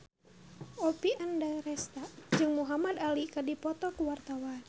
Oppie Andaresta jeung Muhamad Ali keur dipoto ku wartawan